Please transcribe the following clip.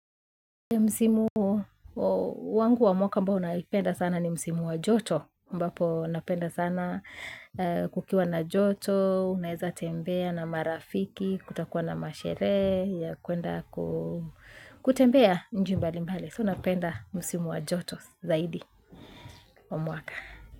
Msimu wangu wa mwaka mbao naipenda sana ni msimu wa joto, ambapo napenda sana kukiwa na joto, unaweza tembea na marafiki, kutakuwa na masherehe ya kwenda kutembea nchi mbalimbali, so napenda msimu wa joto zaidi wa mwaka.